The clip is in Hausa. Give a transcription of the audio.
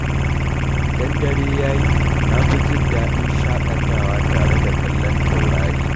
Idan dare ya yi, na fi jin daɗin shaƙatawa tare da kallon taurari.